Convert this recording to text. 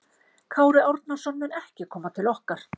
Kári Árnason mun ekki koma til okkar.